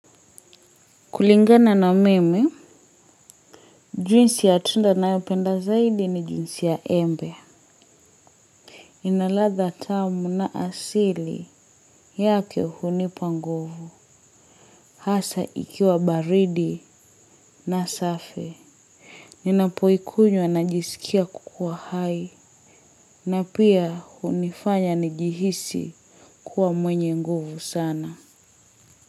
Kulingana na mimi, juisi ya tunda nayopenda zaidi ni juisi ya embe. Inaladha tamu na asili yake hunipa nguvu, hasa ikiwa baridi na safi. Ninapoikunywa najisikia kukuwa hai, na pia hunifanya njihisi kuwa mwenye nguvu sana.